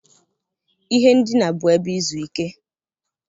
Ihe ndina bụ ebe izu ike.